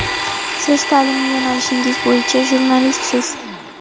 Siz ta’lim yo‘nalishingiz bo‘yicha jurnalistsiz.